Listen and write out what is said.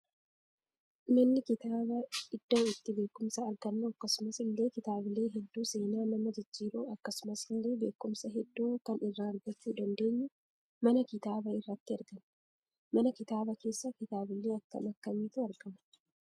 Manni kitaaba iddoo itti beekumsa argannu akkasumas illee kitaabilee heddu seenaa nama jijjiru akkasumas illee beekumsa heddu kan irra argachuu dandeenyu mana kitaaba irraatii arganna. Mana kitaaba kessa kitaabilee akkam akkamiitu argama?